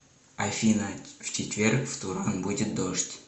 афина в четверг в туран будет дождь